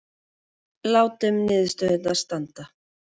Látum niðurstöðurnar standa